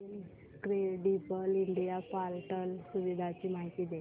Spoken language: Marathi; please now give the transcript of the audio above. इनक्रेडिबल इंडिया पोर्टल सुविधांची माहिती दे